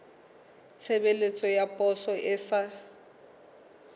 tshebeletso ya poso e sa